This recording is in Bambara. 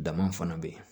Dama fana bɛ yen